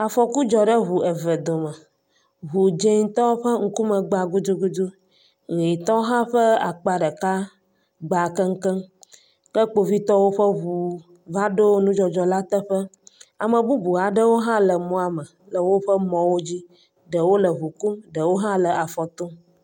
Afɔku dzɔ ɖe ŋu eve dome, ŋu dzetɔ ƒe ŋkume gba gudugudu, ʋɛ̃tɔ hã ƒe akpa ɖeka gba keŋkeŋ. Ke kpovitɔwo ƒe ŋu va ɖo nudzɔdzɔ la teƒe. ame bubu aɖewo hã le mɔa me, ɖewo le ŋu kum, ɖewo hã le afɔ tom.